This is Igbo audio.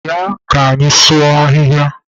Bịanụ ka anyị sụọ ahịhịa!